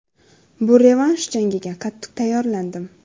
Bu revansh jangiga qattiq tayyorlandim.